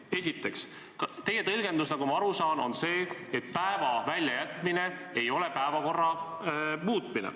Esiteks, teie tõlgendus, nagu ma aru saan, on selline, et päeva väljajätmine ei ole päevakorra muutmine.